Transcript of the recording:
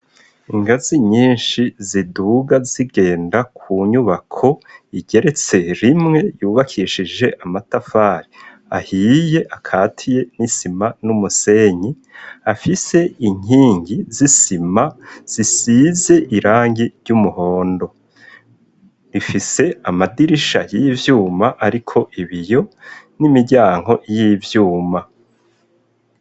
Ingazi nyinshi ziduga zigenda ku nyubako igeretse rimwe yubakishije amatafari ahiye, akatiye n'isima n'umusenyi ,afise inkingi z'isima zisize irangi ry'umuhondo .Ifise amadirisha y'ivyuma ariko ibiyo n'imiryango y'ivyuma.